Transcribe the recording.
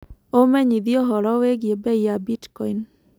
ũmenyĩthĩe ũhoro wĩĩgĩe beĩ ya bitcoin